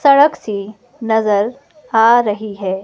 सड़क सी नजर आ रही है।